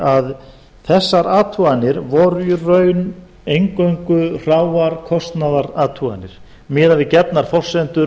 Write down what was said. að þessar athuganir voru í raun eingöngu hráar kostnaðarathuganir miðað við gefnar forsendur